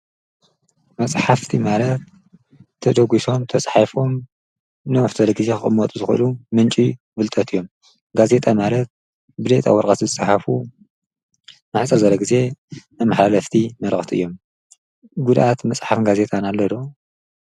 መፅሓፍቲ ማለት ተደጕሶም ተጽሒፎም ንብዙሕ ጊዜ ኽቕመጡ ዝኽእሉ ምንጪ ፍልጠት እዮም፡፡ ጋዜጣ ማለት ብሌጣ ወርቐት ዝፀሓፉ ንሕፅር ዝበለ ጊዜ ኣብ ሓለፍቲ መርቕቲ እዮም፡፡ ጕድኣት መጽሓፍትን ጋዜጣን ኣሎ ዶ?